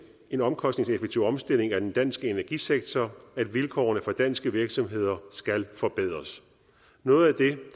en omkostningseffektiv omstilling af den danske energisektor at vilkårene for danske virksomheder skal forbedres noget